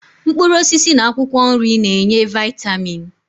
Mkpụrụosisi na akwụkwọ nri na-enye vaịtamin